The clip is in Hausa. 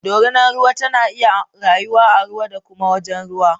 Dorinar ruwa tana iya rayuwa a ruwa da kuma a wajen ruwa